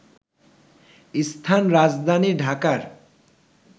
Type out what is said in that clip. স্থান রাজধানী ঢাকার